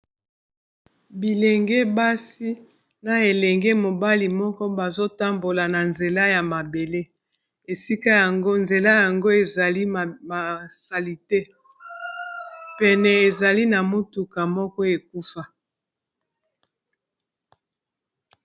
Bilenge basi na elenge mobali moko, bazo tambola na nzela ya mabele. Esika yango, nzela yango ezali na salite. Pene, ezali na motuka moko ekufa.